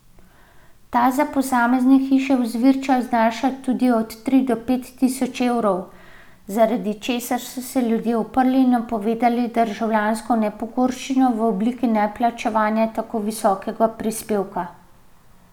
Ta za posamezne hiše v Zvirčah znaša tudi od tri do pet tisoč evrov, zaradi česar so se ljudje uprli in napovedali državljansko nepokorščino v obliki neplačevanja tako visokega prispevka.